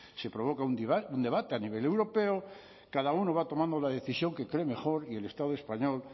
se provoca un debate a nivel europeo cada uno va tomando la decisión que cree mejor y el estado español